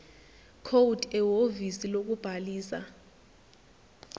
code ehhovisi lokubhalisa